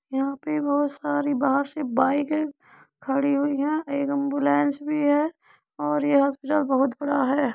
यहाँ पे बहुत सारी बाहर से बाईकें खड़ी हुई हैं। एक एम्बुलेंस भी है और यह हॉस्पिटल बहुत बड़ा है।